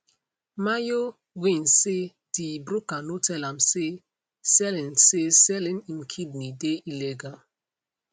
myo win say di broker no tell am say selling say selling im kidney dey illegal